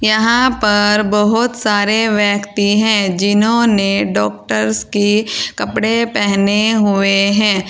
यहां पर बहोत सारे व्यक्ति हैं जिन्होंने डॉक्टर्स के कपड़े पहने हुए हैं।